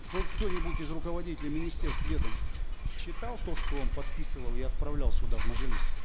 хоть кто нибудь из руководителей министерств ведомств читал то что он подписывал и отправлял сюда в мажилис